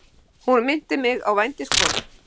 Hún minnti mig á vændiskonu.